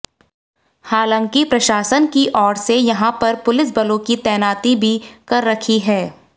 हांलाकि प्रशासन की ओर से यहां पर पुलिस बलों की तैनाती भी कर रखी है